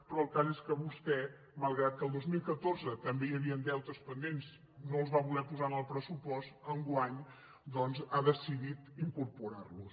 però el cas és que vostè malgrat que en el dos mil catorze també hi havien deutes pendents i que no els va voler posar en el pressupost enguany doncs ha decidit incorporar los